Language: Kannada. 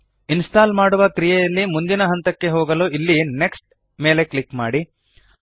ಇನ್ಸ್ಟಾಲ್ ಮಾಡುವ ಕ್ರಿಯೆಯಲ್ಲಿ ಮುಂದಿನ ಹಂತಕ್ಕೆ ಹೋಗಲು ಇಲ್ಲಿ ನೆಕ್ಸ್ಟ್ ಮೇಲೆ ಕ್ಲಿಕ್ ಮಾಡಿ